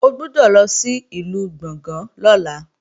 O gbọ́dọ̀ lọ sìlú Gbọ̀ngán lọ́la